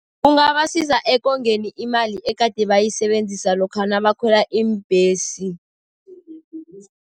Kungabasiza ekongeni imali egade bayisebenzisa lokha nabakhwela iimbhesi.